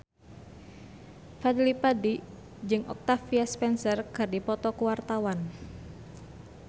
Fadly Padi jeung Octavia Spencer keur dipoto ku wartawan